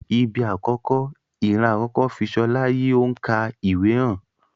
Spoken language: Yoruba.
Ibi akọkọ, iran akọkọ fi Ṣọla yi o n ka ìwé hàn.